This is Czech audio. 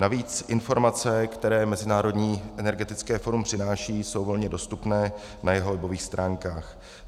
Navíc informace, které Mezinárodní energetické fórum přináší, jsou volně dostupné na jeho webových stránkách.